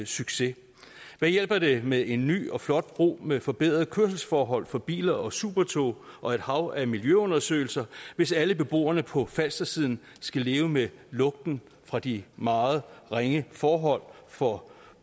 succes hvad hjælper det med en ny og flot bro med forbedret kørselsforhold for biler og supertog og et hav af miljøundersøgelser hvis alle beboerne på falstersiden skal leve med lugten fra de meget ringe forhold for